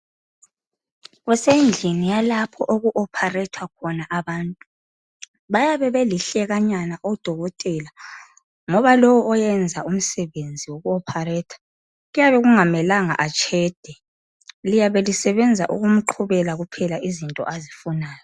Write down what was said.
Kusendlini yalapho oku opharethwa khona abantu. Bayabe belihlekanyana odokotela ngoba lowo oyenza umsebenzi woku opharetha kuyabe kungamelanga atshede. Liyabe lisebenza ukumqhubela kuphela izinto azifunayo.